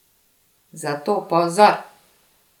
Zato pozor!